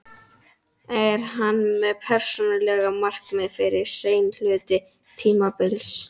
Er hann með persónuleg markmið fyrir seinni hluta tímabilsins?